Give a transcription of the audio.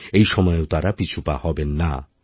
এই সময়েও তাঁরা পিছুপা হবেন না